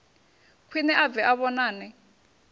khwiṋe a bve a vhonane